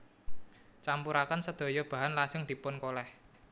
Campuraken sedaya bahan lajeng dipun kolèh